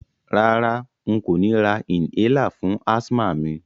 Rárá, n kò ni ra inhaler fún asthma mi